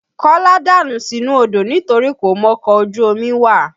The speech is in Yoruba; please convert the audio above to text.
Kọ́lá dànù sínú odó nitorí kò mọkọ̀ ojú omi wà